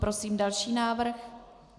Prosím další návrh.